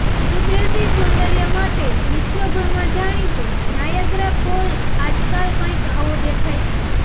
કુદરતી સૌંદર્ય માટે વિશ્વભરમાં જાણીતો નાયગ્રા ફોલ આજકાલ કંઈક આવો દેખાય છે